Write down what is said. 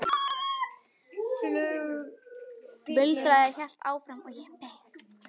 Muldrið hélt áfram og ég beið.